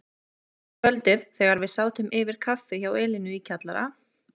Eitt kvöldið þegar við sátum yfir kaffi hjá Elínu í kjallara